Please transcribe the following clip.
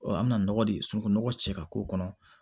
Ɔ an bɛna nɔgɔ de sunɔgɔ cɛ ka k'o kɔnɔ